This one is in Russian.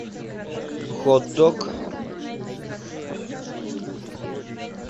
хот дог